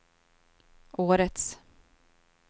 årets